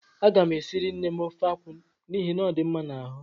A gam esiri nnem ofe akwụ n'ihi na ọ dị mma n'ahụ